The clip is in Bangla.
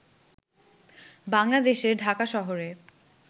বাংলাদেশের ঢাকা শহরে